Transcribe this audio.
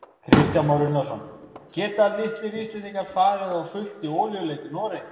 Kristján Már Unnarsson: Geta litlir Íslendingar farið á fullt í olíuleit í Noregi?